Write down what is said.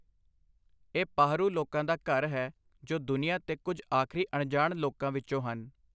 ਇਹ ਪਾਹਰੂ ਲੋਕਾਂ ਦਾ ਘਰ ਹੈ, ਜੋ ਦੁਨੀਆ ਦੇ ਕੁੱਝ ਆਖਰੀ ਅਣਜਾਣ ਲੋਕਾਂ ਵਿੱਚੋਂ ਹਨ।